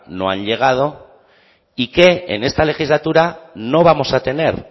no han llegado y que en esta legislatura no vamos a tener